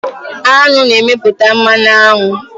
Aṅụ na-emeput mmanụ aṅụ